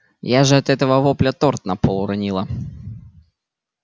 я же от этого вопля торт на пол уронила